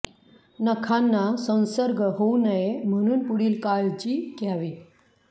नखांना संसर्ग होऊ नये म्हणून पुढील काळजी घ्यावी